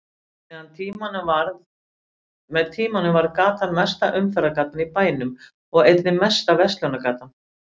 Með tímanum varð gatan mesta umferðargatan í bænum og einnig mesta verslunargatan.